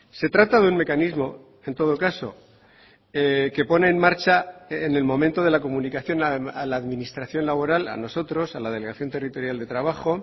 se trata de un mecanismo en todo caso que pone en marcha en el momento de la comunicación a la administración laboral a nosotros a la delegación territorial de trabajo